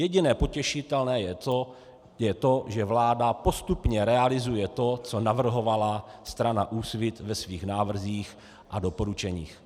Jediné potěšitelné je to, že vláda postupně realizuje to, co navrhovala strana Úsvit ve svých návrzích a doporučeních.